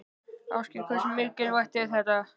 Ásgeir: Hversu mikilvægt er þetta?